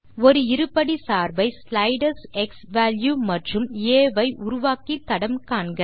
ஒரு இருபடிச் சார்பை ஸ்லைடர்ஸ் க்ஸ்வால்யூ மற்றும் ஆ ஐ உருவாக்கி தடம் காண்க